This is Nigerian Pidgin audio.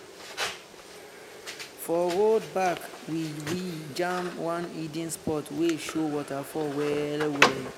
for road back we we jam one hidden spot wey show waterfall well-well.